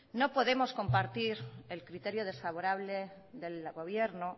no podemos compartir el criterio desfavorable del gobierno